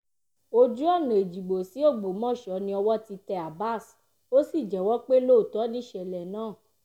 ojú-ọ̀nà ẹ̀jígbò sí ọgbọ́mọsọ ni owó ti tẹ́ abbas ó sì jẹ́wọ́ pé lóòótọ́ nìṣẹ̀lẹ̀ náà